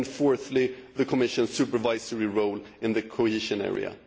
and, fourthly, the Commission's supervisory role in the cohesion area.